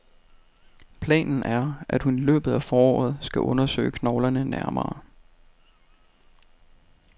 Planen er, at hun i løbet af foråret skal undersøge knoglerne nærmere.